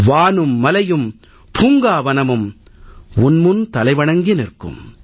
வானும் மலையும் பூங்காவனமும் உன் முன் தலைவணங்கி நிற்கும்